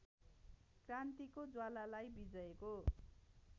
क्रान्तिको ज्वालालाई विजयको